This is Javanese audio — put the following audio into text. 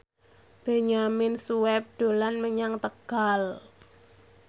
Benyamin Sueb dolan menyang Tegal